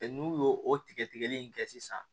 N'u y'o o tigɛli in kɛ sisan